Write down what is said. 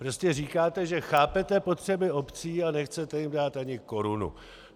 Prostě říkáte, že chápete potřeby obcí, a nechcete jim dát ani korunu.